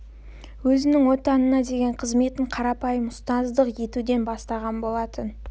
өзінің отанына деген қызметін қарапайым ұстаздық етуден бастаған болатын